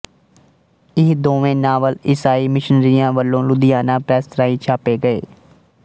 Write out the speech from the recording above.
ਇਹ ਦੋਵੇਂ ਨਾਵਲ ਈਸਾਈ ਮਿਸ਼ਨਰੀਆਂ ਵਲੋਂ ਲੁਧਿਆਣਾ ਪ੍ਰੈਸ ਰਾਹੀਂ ਛਾਪੇ ਗਏ